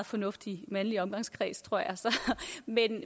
fornuftig mandlig omgangskreds tror jeg men